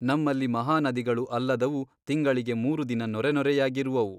ನಮ್ಮಲ್ಲಿ ಮಹಾನದಿಗಳು ಅಲ್ಲದವು ತಿಂಗಳಿಗೆ ಮೂರು ದಿನ ನೊರೆನೊರೆಯಾಗಿರುವವು.